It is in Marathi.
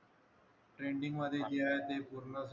पेंडिंग मध्ये जे आहे ते पूर्ण